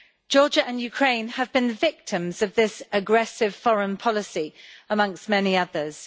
Georgia and Ukraine have been victims of this aggressive foreign policy, amongst many others.